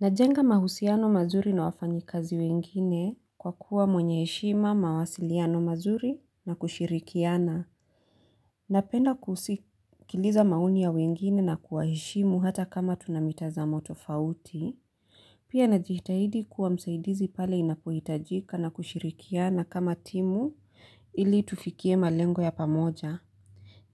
Najenga mahusiano mazuri na wafanyikazi wengine kwa kuwa mwenye heshima mawasiliano mazuri na kushirikiana. Napenda kusikiliza maoni ya wengine na kuwaheshimu hata kama tuna mitazamo tofauti. Pia najitahidi kuwa msaidizi pale inapohitajika na kushirikiana kama timu ili tufikie malengo ya pamoja.